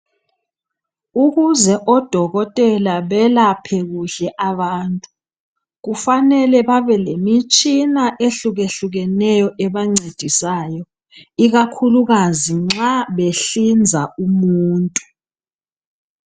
Ukuze odokotela belaphe kuhle abantu kufanele babe lemitshina ehlukahlukeneyo ebancedisayo ikakhulukazi nxa behlinza umuntu.